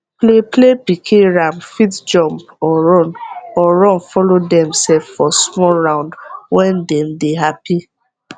play play pikin ram fit jump or run or run follow dem sef for small round wen dem dey happy